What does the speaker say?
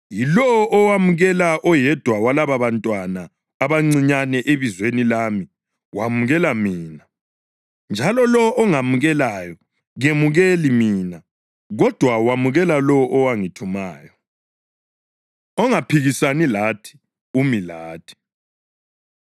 “Yilowo owamukela oyedwa walababantwana abancinyane ebizweni lami wamukela mina; njalo lowo ongamukelayo kemukeli mina, kodwa wamukela lowo owangithumayo.” Ongaphikisani Lathi Umi Lathi